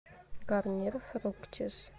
гарньер фруктис